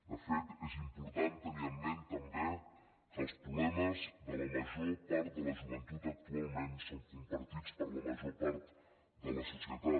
de fet és important tenir en ment també que els problemes de la major part de la joventut actualment són compartits per la major part de la societat